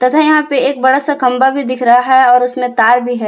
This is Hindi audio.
तथा यहां पे एक बड़ा सा खंभा भी दिख रहा है और उसमें तार भी है।